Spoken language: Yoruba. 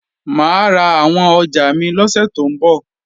Mà á ra àwọn ọjà mi lọ́sẹ̀ tó ń bọ̀